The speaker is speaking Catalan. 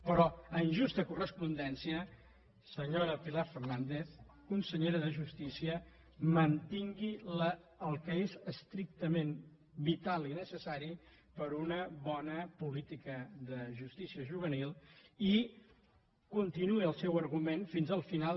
però en justa correspondència senyora pilar fernández consellera de justícia mantingui el que és estrictament vital i necessari per a una bona política de justícia juvenil i continuï el seu argument fins al final